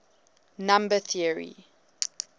number theory